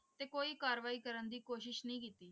ਤੇ ਕੋਈ ਕਾਰਵਾਈ ਕਰਨ ਦੀ ਕੋਸ਼ਿਸ਼ ਨਹੀਂ ਕੀਤੀ।